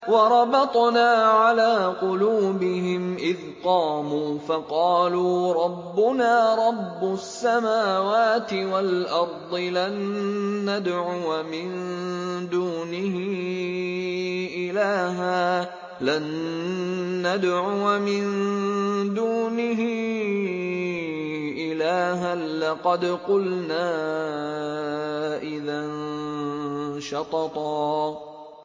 وَرَبَطْنَا عَلَىٰ قُلُوبِهِمْ إِذْ قَامُوا فَقَالُوا رَبُّنَا رَبُّ السَّمَاوَاتِ وَالْأَرْضِ لَن نَّدْعُوَ مِن دُونِهِ إِلَٰهًا ۖ لَّقَدْ قُلْنَا إِذًا شَطَطًا